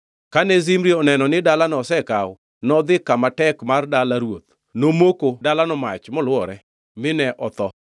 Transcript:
Kane Zimri oneno ni dalano osekaw, nodhi kama tek mar dala ruoth, nomoko dalano mach molwore. Mine otho,